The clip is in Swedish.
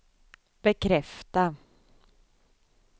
bekräfta